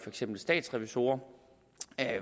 eksempel statsrevisorer